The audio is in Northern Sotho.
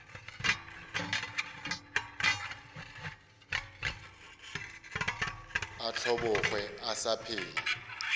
a hlobogwe a sa phela